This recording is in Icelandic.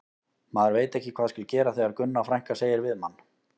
Maður veit ekki hvað skal gera þegar Gunna frænka segir við mann